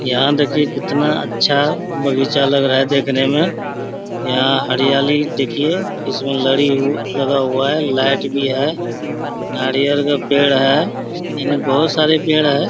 यहाँ देखिये कितना अच्छा बगीचा लग रहा है देखने में यहाँ हरियाली देखिये इसमें लड़ी लगा हुआ है। लाइट भी है। नारियल का पेड़ है। यानि बहोत सारे पेड़ हैं।